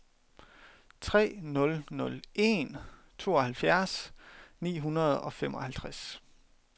tre nul nul en tooghalvfjerds ni hundrede og femoghalvtreds